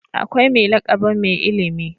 Akwai mai lakabin Mai ilimi.